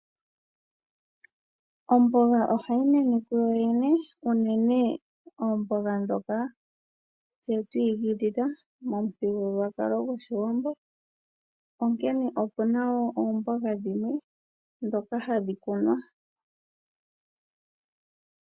Omboga ohayi mene kuyo yene unene oomboga dhoka tse twiikilila momuthigululwakalo gwOshiwambo onkee okuna wo oomboha dhimwe dhoka hadhi kunwa.